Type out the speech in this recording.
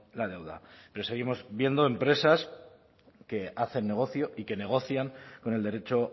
la deuda pero seguimos viendo empresas que hacen negocio y que negocian con el derecho